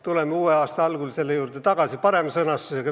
Tuleme uue aasta algul eelnõu juurde tagasi, olles selle paremini sõnastanud.